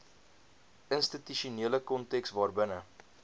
institusionele konteks waarbinne